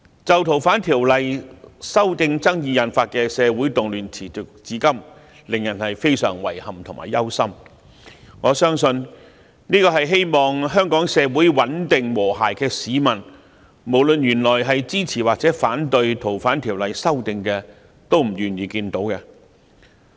就《逃犯條例》修訂爭議引發的社會動亂持續至今，令人非常遺憾及憂心，我相信希望香港社會穩定和諧的市民，無論他們支持或反對《逃犯條例》修訂，都不願意見到這情況。